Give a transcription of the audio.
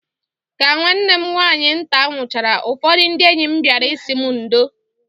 Ka nwanne m nwaanyị nta nwụchaara, ụfọdụ ndị enyi m bịara ịsị m ndo